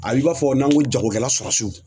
A b'i b'a fɔ n'an ko jagokɛla